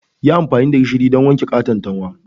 Yi amfani da gishiri don wanke katantanwa